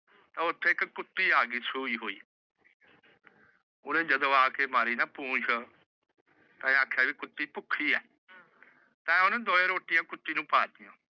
ਤਾਂ ਉੱਥੇ ਇੱਕ ਕੁੱਤੀ ਆ ਗਈ ਸੂਈ ਹੋਈ। ਓਹਨੇ ਜਦੋ ਆਕੇ ਮਾਰੀ ਨਾ ਪੂਛ। ਤੇਏ ਕੁੱਤੀ ਭੁੱਖੀ ਏ। ਤੇਏ ਓਹਨੂੰ ਦੋਵੇ ਰੋਟੀਆਂ ਕੁੱਤੀ ਨੂੰ ਪਾਤੀਏ।